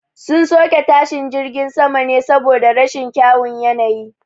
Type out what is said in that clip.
Sun soke tashin jirgin ne saboda rashin kyawun yanayi